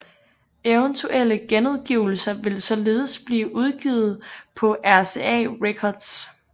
Eventuelle genudgivelser vil således blive udgivet på RCA Records